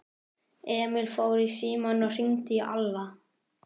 Emil fór í símann og hringdi í Alla.